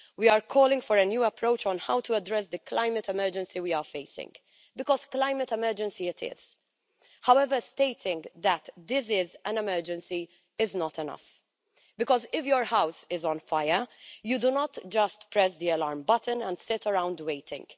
We are calling for a new approach on how to address the climate emergency we are facing, because a climate emergency it is. However, stating that this is an emergency is not enough because, if your house is on fire, you do not just press the alarm button and sit around waiting.